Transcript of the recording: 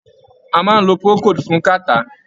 A maá ń lo Procold fún Cattarh.